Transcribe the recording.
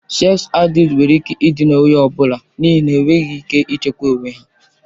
Seks adịkti nwere ike ịdịna onye ọ bụla n'ihi na ha enweghị ike ịchịkwa onwe ha.